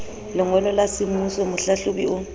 lengolo la semmuso mohlahlobi o